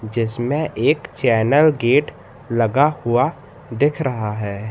जिसमें एक चैनर गेट लगा हुआ दिख रहा है।